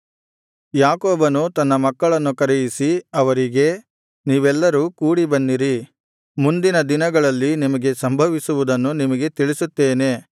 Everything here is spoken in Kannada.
ಯಾಕೋಬನು ತನ್ನ ಮಕ್ಕಳನ್ನು ಕರೆಯಿಸಿ ಅವರಿಗೆ ನೀವೆಲ್ಲರೂ ಕೂಡಿ ಬನ್ನಿರಿ ಮುಂದಿನ ದಿನಗಳಲ್ಲಿ ನಿಮಗೆ ಸಂಭವಿಸುವುದನ್ನು ನಿಮಗೆ ತಿಳಿಸುತ್ತೇನೆ